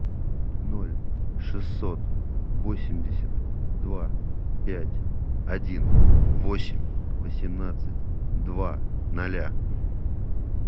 ноль шестьсот восемьдесят два пять один восемь восемнадцать два ноля